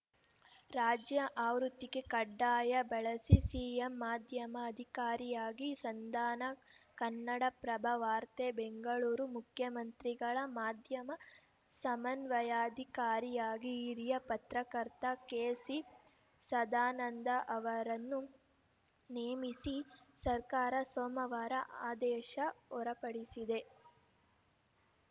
ರಾಜ್ಯ ಆವೃತ್ತಿಗೆ ಕಡ್ಡಾಯ ಬಳಸಿ ಸಿಎಂ ಮಾಧ್ಯಮ ಅಧಿಕಾರಿಯಾಗಿ ಸಂಧಾನ ಕನ್ನಡಪ್ರಭ ವಾರ್ತೆ ಬೆಂಗಳೂರು ಮುಖ್ಯಮಂತ್ರಿಗಳ ಮಾಧ್ಯಮ ಸಮನ್ವಯಾಧಿಕಾರಿಯಾಗಿ ಹಿರಿಯ ಪತ್ರಕರ್ತ ಕೆಸಿಸದಾನಂದ ಅವರನ್ನು ನೇಮಿಸಿ ಸರ್ಕಾರ ಸೋಮವಾರ ಆದೇಶ ಹೊರ ಪಡಿಸಿದೆ